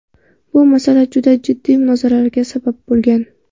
Bu masala juda jiddiy munozaralarga sabab bo‘lgan.